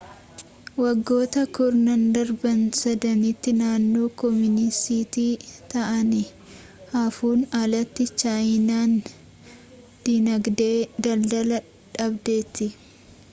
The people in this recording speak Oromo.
waggoota kurnan darbaan sadanitti naannoo kooministii ta'anii haafuun alatti chaayinaan diinagdee daldalaa dhaabdeetti